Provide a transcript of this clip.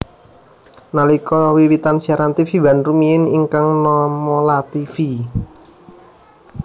Nalika wiwitan siaran tvOne rumiyin ingkang nama Lativi